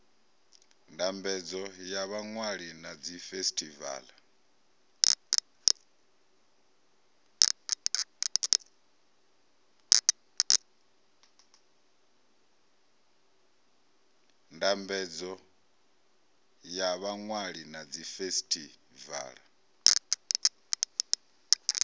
ndambedzo ya vhaṅwali na dzifesitivala